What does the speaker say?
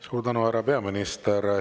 Suur tänu, härra peaminister!